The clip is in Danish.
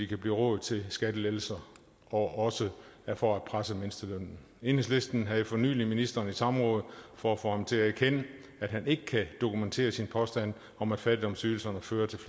kan blive råd til skattelettelser og også for at presse mindstelønnen enhedslisten havde for nylig ministeren i samråd for at få ham til at erkende at han ikke kan dokumentere sin påstand om at fattigdomsydelserne fører til